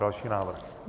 Další návrh.